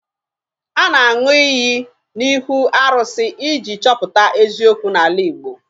A na-aṅụ iyi n'ihu arụsị iji chọpụta eziokwu n'ala Igbo